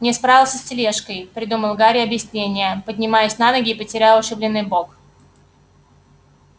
не справился с тележкой придумал гарри объяснение поднимаясь на ноги и потирая ушибленный бок